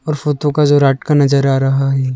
Photo का जो रात का नजर आ रहा है।